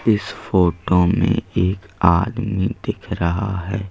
इस फोटो में एक आदमी दिख रहा है।